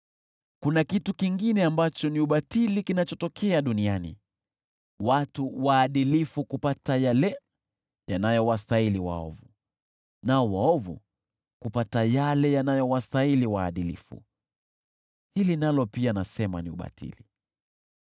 Kuna kitu kingine ambacho ni ubatili kinachotokea duniani: Watu waadilifu kupata yale yanayowastahili waovu, nao waovu kupata yale yanayowastahili waadilifu. Hili nalo pia, nasema ni ubatili.